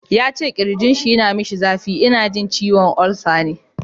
Yace kirjinshi yana masa zafi, ina jin ciwon ulcer ne